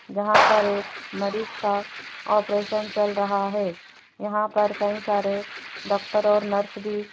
जहां पर एक मरीज का ऑपरेशन चल रहा है यहां पर कई सारे डॉक्टर और नर्स भी --